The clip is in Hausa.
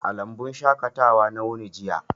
A lambun shaƙatawa na wuni jiya.